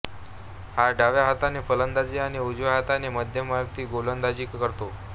हा डाव्या हाताने फलंदाजी आणि उजव्या हाताने मध्यमगती गोलंदाजी करतो